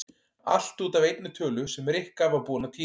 Allt út af einni tölu sem Rikka var búin að týna.